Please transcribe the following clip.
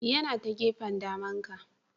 Yana ta gefen daman ka.